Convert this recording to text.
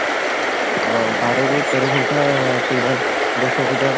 ଅ ବାର ରୁ ତେର ଘଣ୍ଟା କିମ୍ବା ଦଶ ଘଣ୍ଟା